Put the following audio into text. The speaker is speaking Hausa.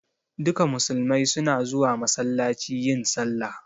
Duka musulmai su na zuwa masallaci yin sallah